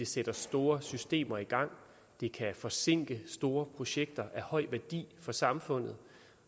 sættes store systemer i gang det kan forsinke store projekter af høj værdi for samfundet